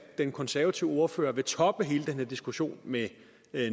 den konservative ordfører vil toppe hele den her diskussion med